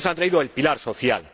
No nos ha traído el pilar social.